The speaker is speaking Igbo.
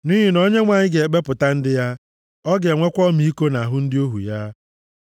Nʼihi na Onyenwe anyị ga-ekpepụta ndị ya. Ọ ga-enwekwa ọmịiko nʼahụ ndị ohu ya.